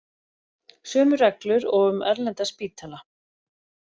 Sömu reglur og um erlenda spítala